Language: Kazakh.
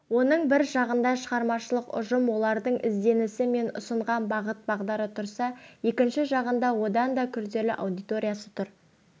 оның бір жағында шығармашылық ұжым олардың ізденісі мен ұстанған бағыт-бағдары тұрса екінші жағында одан да күрделі аудиториясы тұр